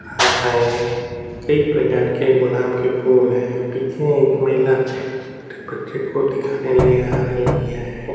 हैं कई प्रकार के गुलाब के फूल हैं पीछे एक महिला अपने बच्चे को दिखाने ले आ रही हैं।